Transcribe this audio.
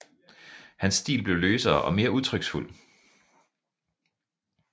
Hans stil blev løsere og mere udtryksfuld